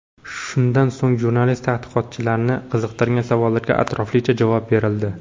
Shundan so‘ng jurnalist-tadqiqotchilarni qiziqtirgan savollarga atroflicha javob berildi.